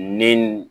Ni